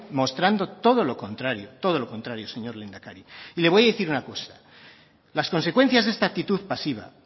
mostrando todo lo contrario todo lo contrario señor lehendakari le voy a decir una cosa las consecuencias de esta actitud pasiva